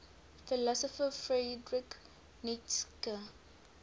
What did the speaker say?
philosopher friedrich nietzsche